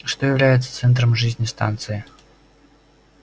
что является центром жизни станции